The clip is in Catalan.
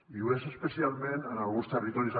i ho és especialment en alguns territoris